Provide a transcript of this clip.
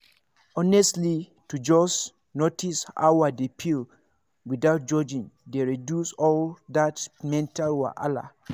honestly to just notice how i dey feel without judging dey reduce all that mental wahala.